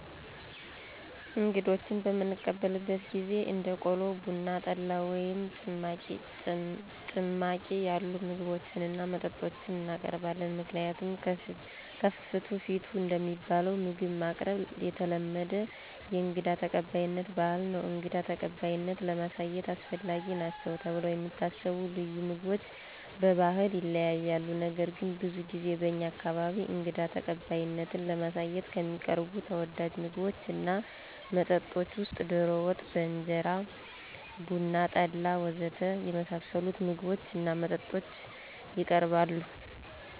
እንግዶችን በምንቀበልበት ጊዜ እንደ ቆሎ፣ ቡና፣ ጠላ ወይም ጭማቂ ያሉ ምግቦችን እና መጠጦችን እናቀርባለን። ምክንያቱም ከፍትፍቱ ፊቱ እንደሚባለው ምግብ ማቅረብ የተለመደ የእንግዳ ተቀባይነት ባህል ነው። እንግዳ ተቀባይነትን ለማሳየት አስፈላጊ ናቸው ተብለው የሚታሰቡ ልዩ ምግቦች በባህል ይለያያሉ። ነገር ግን ብዙ ጊዜ በእኛ አካባቢ እንግዳ ተቀባይነትን ለማሳየት ከሚቀርቡ ተወዳጅ ምግቦች እና መጠጦች ውስጥ ዶሮ ወጥ በእንጀራ፣ ቡና፣ ጠላ ወ.ዘ.ተ. የመሳሰሉት ምግቦች እና መጠጦች የቀርባሉ።